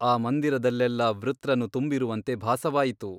ಆ ಮಂದಿರದಲ್ಲೆಲ್ಲಾ ವೃತ್ರನು ತುಂಬಿರುವಂತೆ ಭಾಸವಾಯಿತು.